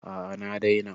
A'a na daina